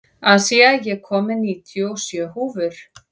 Asía, ég kom með níutíu og sjö húfur!